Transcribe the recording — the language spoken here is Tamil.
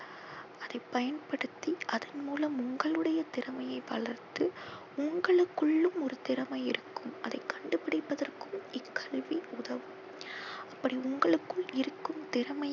அதை பயன்படுத்தி அதன் மூலம் உங்களுடைய திறமையை வளர்த்து உங்களுக்குள்ளும் ஒரு திறமை இருக்கும் அதை கண்டு பிடிப்பதற்கும் இக்கல்வி உதவும். அப்படி உங்களுக்குள் இருக்கும் திறமையை